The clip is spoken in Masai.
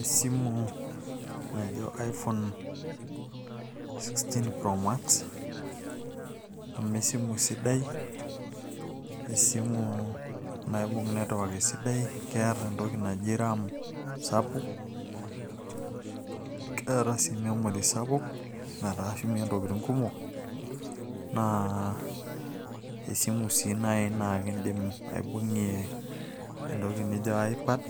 esimu najo iphone 16 promax ,amu esimu siddai esimu naibung' network aitobiraki, keeta entoki naji ram sapuk. neeta sii memory sapuk netaa ishumie ntokitin kumok, naa esimu sii naaji naa idim aibung'ie entoki naji ipad